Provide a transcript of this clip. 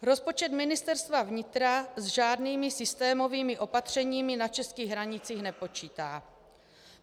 Rozpočet Ministerstva vnitra s žádnými systémovými opatřeními na českých hranicích nepočítá.